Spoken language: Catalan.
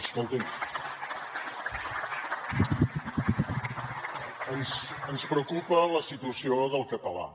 escolti’m ens preocupa la situació del català